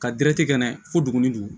Ka dɛrɛti kɛ n'a ye fo duguni dugu